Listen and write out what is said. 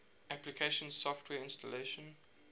application software installation